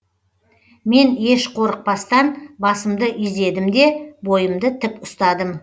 мен еш қорықпастан басымды изедім де бойымды тік ұстадым